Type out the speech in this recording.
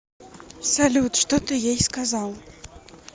салют что ты ей сказал